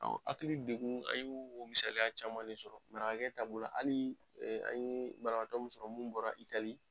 hakili degun an y'o o misaliya caman de sɔrɔ. Marakakɛ ta b'o la hali an yee banabaatɔ mun sɔrɔ mun bɔra Italie